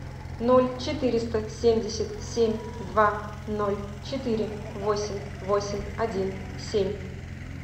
ноль четыреста семьдесят семь два ноль четыре восемь восемь один семь